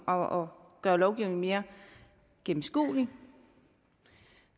og gøre lovgivningen mere gennemskuelig